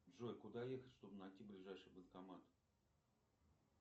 джой куда ехать чтоб найти ближайший банкомат